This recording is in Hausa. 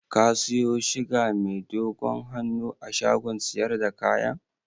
Ka siyo shiga mai dogon hannun a shagon siyar da kayan?